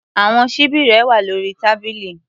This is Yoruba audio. Àwọn ṣíbí rẹ wà lórí tábìlì.